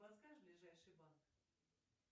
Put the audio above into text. подскажешь ближайший банк